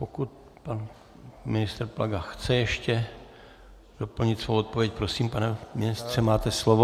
Pokud... pan ministr Plaga chce ještě doplnit svou odpověď, prosím, pane ministře, máte slovo.